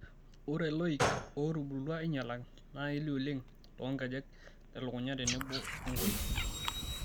Ore loik ootubulutua ainyalaki naa kelio oleng' toonkejek, telukunya tenebo enkoriong'.